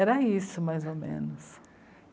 Era isso, mais ou menos.